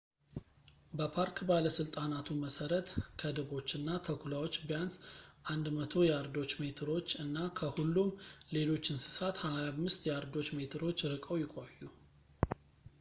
በፓርክ ባለስልጣናቱ መሰረት ከድቦችና ተኩላዎች ቢያንስ 100 ያርዶች/ሜትሮች እና ከሁሉም ሌሎች እንስሳት 25 ያርዶች/ሜትሮች ርቀው ይቆዩ